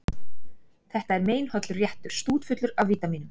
Þetta er meinhollur réttur, stútfullur af vítamínum.